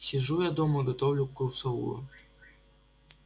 сижу я дома готовлю курсовую